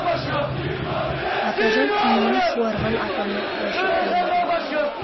атажау қанына суарған атамның қылышы төрімде